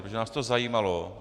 Protože nás to zajímalo.